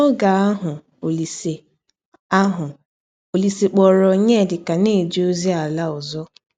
N’ọge ahụ, Ọlise ahụ, Ọlise kpọọrọ Ọnyedika na - eje ọzi ala ọzọ.